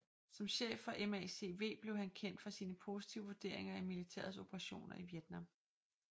Som chef for MACV blev han kendt for sine positive vurderinger af militærets operationer i Vietnam